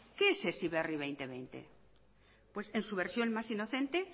qué es heziberri dos mil veinte pues en su versión más inocente